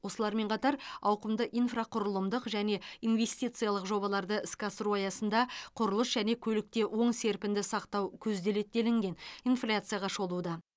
осылармен қатар ауқымды инфрақұрылымдық және инвестициялық жобаларды іске асыру аясында құрылыс және көлікте оң серпінді сақтау көзделеді делінген инфляцияға шолуда